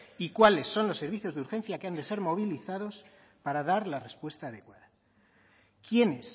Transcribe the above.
y cuáles son los servicios de urgencias que han de ser movilizados para dar la respuesta adecuada quiénes